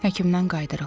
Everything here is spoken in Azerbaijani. Həkimdən qayıdırıq.